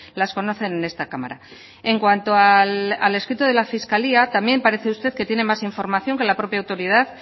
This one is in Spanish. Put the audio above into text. las conocen en esta cámara en cuanto al escrito de la fiscalía también parece que usted tiene más información que la propia autoridad